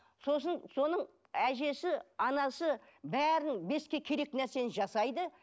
сосын соның әжесі анасы бәрін бесікке керекті нәрсені жасайды